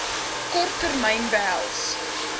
kort termyn behels